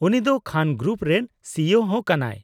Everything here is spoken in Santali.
-ᱩᱱᱤ ᱫᱚ ᱠᱷᱟᱱ ᱜᱨᱩᱯ ᱨᱮᱱ ᱥᱤᱭᱳ ᱦᱚᱸ ᱠᱟᱱᱟᱭ ᱾